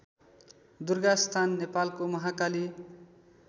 दुर्गास्थान नेपालको महाकाली